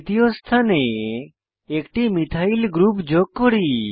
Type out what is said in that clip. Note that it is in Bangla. তৃতীয় স্থানে একটি মিথাইল গ্রুপ যোগ করি